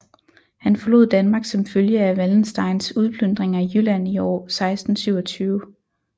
Han forlod Danmark som følge af Wallensteins udplyndring af Jylland i år 1627